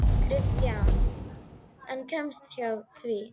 Kristján: En kemstu hjá því?